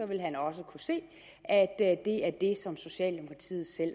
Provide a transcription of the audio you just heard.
ville han også kunne se at det er det som socialdemokratiet selv